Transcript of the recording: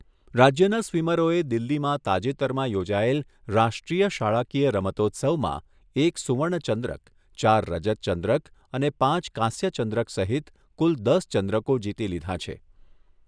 રાજ્યના સ્વીમરોએ દિલ્હીમાં તાજેતરમાં યોજાયેલ રાષ્ટ્રીય શાળાકીય રમતોત્સવમાં એક સુવર્ણચંદ્રક, ચાર રજતચંદ્રક અને પાંચ કાંસ્યચંદ્રક સહિત કુલ દસ ચંદ્રકો જીતી લીધા છે.